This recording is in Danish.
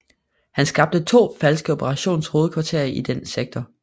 Han skabte to falske operationshovedkvarterer i den sektor